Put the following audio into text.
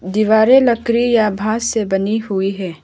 दीवारें लकड़ी या बांस से बनी हुई हैं।